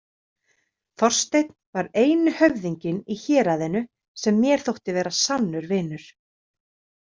Þorsteinn var eini höfðinginn í héraðinu sem mér þótti vera sannur vinur.